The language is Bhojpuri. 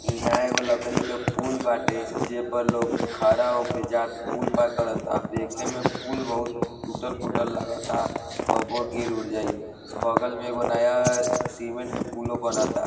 इहा एगो लकड़ी के पुल बाते जे पर लोग खड़ा होक जात पुल पार करता | देखे मे पुल बहोत तुटल फुटल लागता कबो गिर उर जाई | बगल में एगो नया सीमेंट के पुलों बनाता।